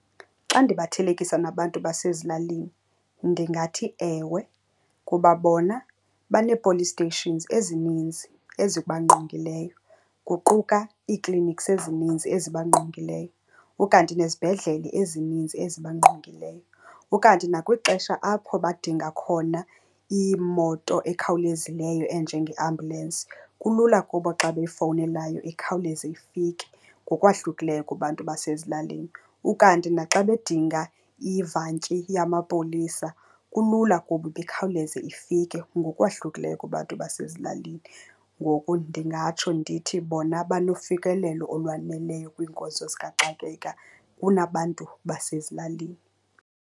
Xa ndibathelekisa nabantu basezilalini ndingathi ewe, kuba bona banee-police stations ezininzi ezibangqongileyo, kuquka ii-clinics ezininzi ezibangqongileyo, ukanti nezibhedlele ezininzi ezibangqongileyo. Ukanti nakwixesha apho badinga khona imoto ekhawulezileyo enjengeambulensi, kulula kubo xa beyifowunelayo ikhawuleze ifike ngokwahlukileyo kubantu basezilalini. Ukanti naxa bedinga ivantyi yamapolisa, kulula kubo uba ikhawuleze ifike ngokwahlukileyo kubantu basezilalini. Ngoku ndingatsho ndithi bona banofikelelo olwaneleyo kwiinkonzo zikaxakeka kunabantu basezilalini.